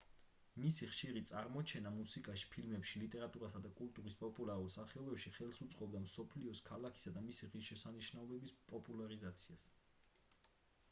მისი ხშირი წარმოჩენა მუსიკაში ფილმებში ლიტერატურასა და კულტურის პოპულარულ სახეობებში ხელს უწყობდა მსოფლიოში ქალაქისა და მისი ღირშესანიშნაობების პოპულარიზაციას